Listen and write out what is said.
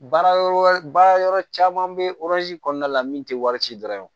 Baara yɔrɔ wɛrɛ baara yɔrɔ caman bɛ kɔnɔna la min tɛ wari ci dɔrɔn ye